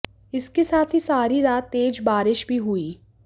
इसके साथ ही सारी रात तेज बारिश भी हुई